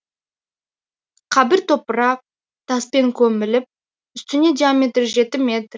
қабір топырақ таспен көміліп үстіне диаметрі жеті метр